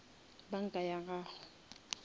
banka ya gona